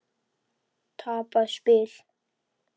Tapað spil?